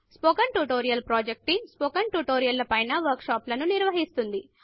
spoken tutorial project team spoken tutorial ల పైన వర్క్ షాపులను నిర్వహిస్తుంది